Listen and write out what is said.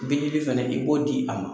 Bilili fana i b'o di a ma.